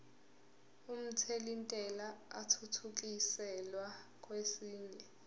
omthelintela athuthukiselwa kwesinye